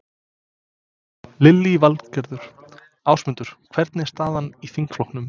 Lillý Valgerður: Ásmundur, hvernig er staðan í þingflokknum?